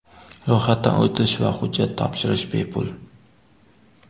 Ro‘yxatdan o‘tish va hujjat topshirish bepul.